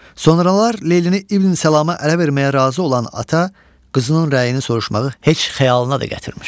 Sonralar Leylini İbn Salama ərə verməyə razı olan ata qızının rəyini soruşmağı heç xəyalına da gətirmir.